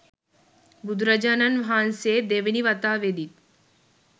බුදුරජාණන් වහන්සේ දෙවෙනි වතාවෙදිත්